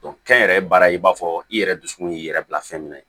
kɛnyɛrɛye baara in b'a fɔ i yɛrɛ dusukun y'i yɛrɛ bila fɛn min ye